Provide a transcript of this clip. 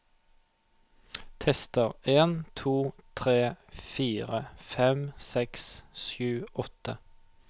Tester en to tre fire fem seks sju åtte